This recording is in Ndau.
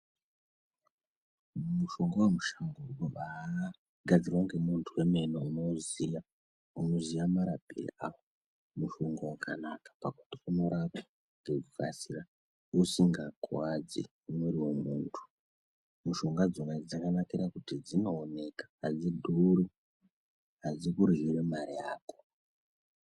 Mushonga wemushango unobagadzirwa ngemuntu wemene unoziya unoziya marapiro awo mushonga wakanaka pakuti unorapa nekukasira usingakuwadzi mwiri wemuntu mushonga dzona idzo dzakanakira kuti dzinooneka adzidhuri adzikuryiri mare yako.